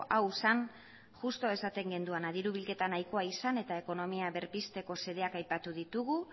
hau zen justu esaten genuena diru bilketa nahikoa izan eta ekonomia berpizteko xedeak aipatu ditugu